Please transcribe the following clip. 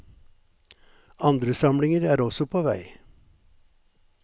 Andre samlinger er også på vei.